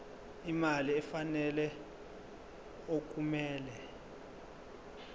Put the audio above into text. imali efanele okumele